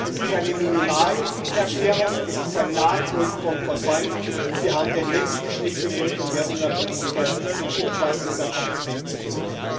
Es ist eine Minimalerklärung, es ist ein Nachholen von Versäumtem, wir haben den nächsten Schritt in Richtung mehr Unabhängigkeit und umfassender Kompetenzen zu gehen.